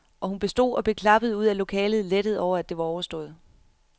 Og hun bestod og blev klappet ud af lokalet, lettet over at det var overstået.